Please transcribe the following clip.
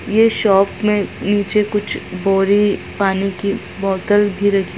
ये शॉप में नीचे कुछ बोरे पानी की बोतल भी रखी--